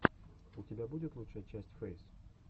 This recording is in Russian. у тебя есть лучшая часть фэйс